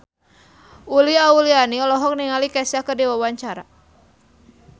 Uli Auliani olohok ningali Kesha keur diwawancara